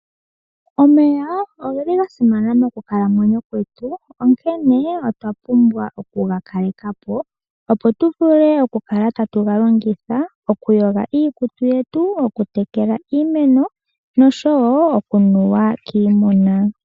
Omeya ogeli ga simana monkalamwenyo yetu, onkene otwapumbwa oku ga kalekapo opo tuvule okukala tatu galongitha okuyoga iikutu yetu, oku tekela iimeno noshowo okunuwa kiimuna.